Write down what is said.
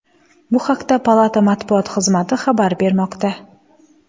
Bu haqda palata matbuot xizmati xabar bermoqda .